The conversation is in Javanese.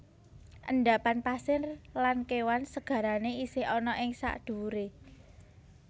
Endapan pasir lan kewan segarane isih ana ing sadhuwure